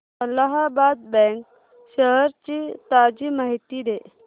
Allahabad bank shares ची ताजी माहिती दे